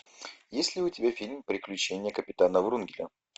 есть ли у тебя фильм приключения капитана врунгеля